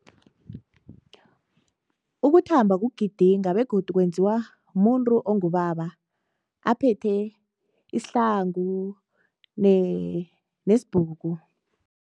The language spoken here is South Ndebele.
Ukuthamba kugidinga begodu kwenziwa mumuntu ongubaba aphethe isihlangu nesibhuku.